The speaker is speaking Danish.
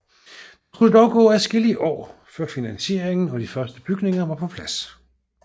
Der skulle dog gå adskillige år før finansieringen og de første bygninger var på plads